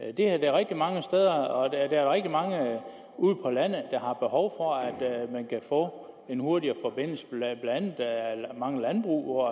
er det rigtig mange steder og der er rigtig mange ude på landet der har behov for at man kan få en hurtigere forbindelse blandt andet mange landbrug hvor